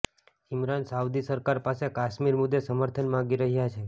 Imran Saudi સરકાર પાસે કાશ્મીર મુદ્દે સમર્થન માગી રહ્યાં છે